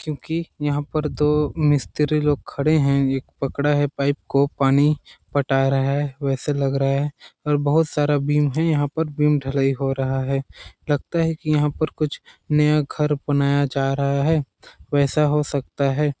क्योंकि यहाँ पर दो मिस्त्री लोग खड़े है एक पकड़ा है पाइप को पानी पटा रहा हैं वैसे लग रहा है और बहुत सारा बिम्ब है यहाँ पर बिम्ब ढलाई हो रहा है लगता है कि यहाँ पर कुछ नया घर बनाया जा रहा है और वैसा हो सकता है